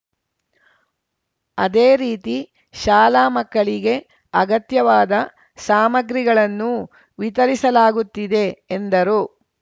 ಅದೇ ರೀತಿ ಶಾಲಾ ಮಕ್ಕಳಿಗೆ ಅಗತ್ಯವಾದ ಸಾಮಗ್ರಿಗಳನ್ನೂ ವಿತರಿಸಲಾಗುತ್ತಿದೆ ಎಂದರು